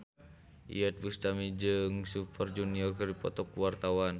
Iyeth Bustami jeung Super Junior keur dipoto ku wartawan